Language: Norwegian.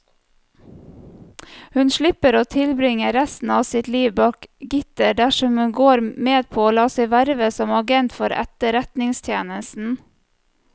Hun slipper å tilbringe resten av sitt liv bak gitter dersom hun går med på å la seg verve som agent for etterretningstjenesten.